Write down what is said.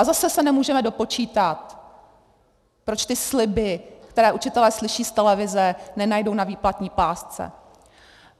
A zase se nemůžeme dopočítat, proč ty sliby, které učitelé slyší z televize, nenajdou na výplatní pásce.